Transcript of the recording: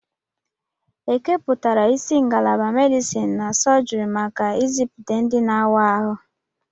Ekepụtara isi ngalaba medisin na sọjiri maka ịzụpụta ndị na-awa ahụ.